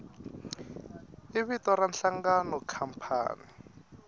i vito ra nhlangano khampani